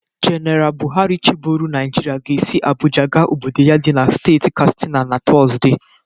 Jeneal Bụharị chiboro Nịajịrịa ga-esi Abụja ga obodo ya dị na steeti Kastina naTọzde.